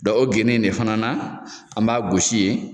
Dɔn o gende in ne fana na an b'a gosi ye